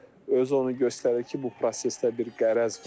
Özü onu göstərir ki, bu prosesdə bir qərəz var.